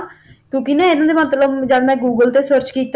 ਕਿਉਕਿ ਇਹਨਾਂ ਮਤਲਬ ਜਦ ਮੈਂ Google ਤੇ Search ਕੀਤਾ